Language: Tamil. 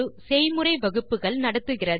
செய்முறை வகுப்புகளை நடத்துகிறது